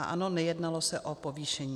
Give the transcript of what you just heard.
A ano, nejednalo se o povýšení.